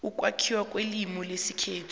ukwakhiwa kwelimu lesikhethu